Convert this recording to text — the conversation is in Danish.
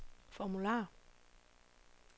formular